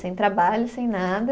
Sem trabalho, sem nada.